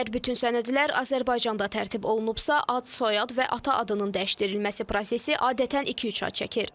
Əgər bütün sənədlər Azərbaycanda tərtib olunubsa, ad, soyad və ata adının dəyişdirilməsi prosesi adətən iki-üç ay çəkir.